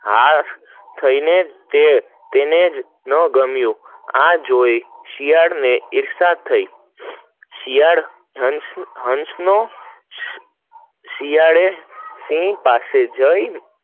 આહ થઇ ને તેને જ ના ગમીયું, આ જોઈ ને શિયાળ ને ઈર્ષ્યા થઇ, શિયાળ નો હંસ નો શિયાળ ઊંટ પાસે જેઇ